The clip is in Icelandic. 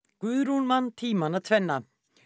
Guðrún man tímana tvenna